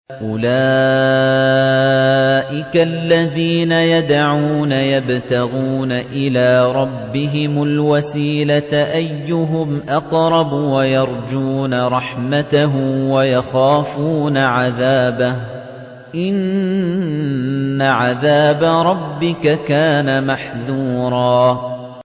أُولَٰئِكَ الَّذِينَ يَدْعُونَ يَبْتَغُونَ إِلَىٰ رَبِّهِمُ الْوَسِيلَةَ أَيُّهُمْ أَقْرَبُ وَيَرْجُونَ رَحْمَتَهُ وَيَخَافُونَ عَذَابَهُ ۚ إِنَّ عَذَابَ رَبِّكَ كَانَ مَحْذُورًا